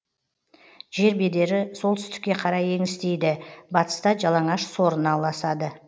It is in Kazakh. жер бедері солтүстікке қарай еңістейді батыста жалаңаш сорына ұласады